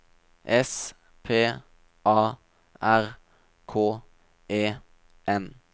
S P A R K E N